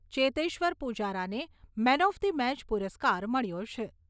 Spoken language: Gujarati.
ચેતેશ્વર પૂજારાને મેન ઓફ ધી મેચ પુરસ્કાર મળ્યો છે.